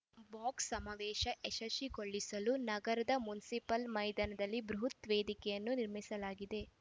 box ಸಮಾವೇಶ ಯಶಸ್ವಿಗೊಳಿಸಲು ನಗರದ ಮುನಷಿಪಲ್ ಮೈದಾನದಲ್ಲಿ ಬೃಹುತ್ ವೇದಿಕೆಯನ್ನು ನಿರ್ಮಿಸಲಾಗಿದೆ